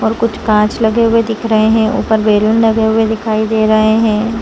कुछ कांच लगे हुए दिख रहे हैं ऊपर बेलन लगे हुए दिखाई दे रहे हैं।